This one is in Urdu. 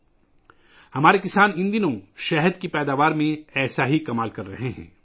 ان دنوں ہمارے کسان شہد کی پیداوار میں ایسا معجزہ کر رہے ہیں